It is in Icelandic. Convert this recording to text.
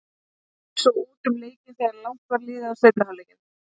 Heimamenn gerðu svo út um leikinn þegar langt var liðið á seinni hálfleikinn.